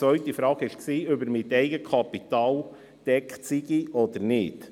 Die zweite Frage war, ob er mit Eigenkapital gedeckt ist oder nicht.